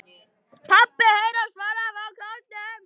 PABBI heyrist svarað frá kórnum.